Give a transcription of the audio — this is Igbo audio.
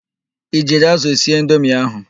I jiri ázụ̀ sie indomi ahụ?